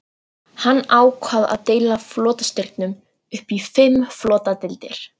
Hann ákvað að deila flotastyrknum upp í fimm flotadeildir.